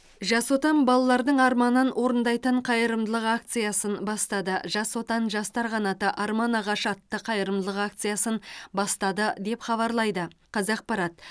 жас отан балалардың арманын орындайтын қайырымдылық акциясын бастады жас отан жастар қанаты арман ағашы атты қайырымдылық акциясын бастады деп хабарлайды қазақпарат